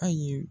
Ayi